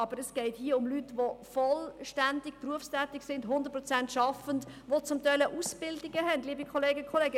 Aber es geht hier um Leute, die vollständig berufstätig sind, zu 100 Prozent arbeiten, die zum Teil auch Ausbildungen gemacht haben, liebe Kolleginnen und Kollegen.